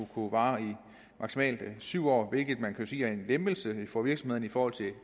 kunne vare i maksimalt syv år hvilket man jo kan sige er en lempelse for virksomhederne i forhold til